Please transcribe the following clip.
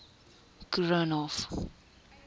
koornhof